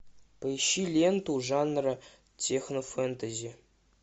поищи ленту жанра технофэнтези